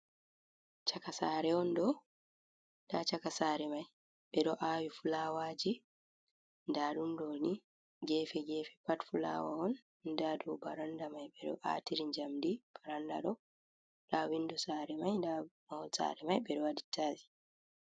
Chakasare on ɗo, nda chaka sare mai ɓeɗo awi fulawaji. nda ɗum ɗoni gefe gefe pat fulawa on nda do baranda mai ɓeɗo atiri jamɗi, baranda on nda windo sare mai nda mahol sare mai ɓeɗo waɗi tiyis.